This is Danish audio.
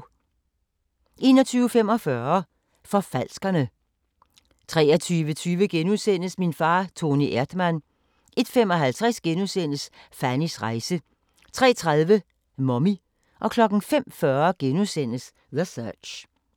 21:45: Forfalskerne 23:20: Min far Toni Erdmann * 01:55: Fannys rejse * 03:30: Mommy 05:40: The Search *